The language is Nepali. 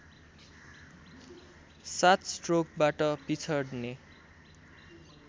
सात स्ट्रोकबाट पिछड्ने